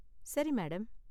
சரி, மேடம்.